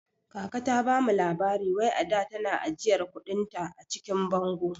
Kaka ta bamu labari wai ada tana ajiyar kuɗin ta a cikin bango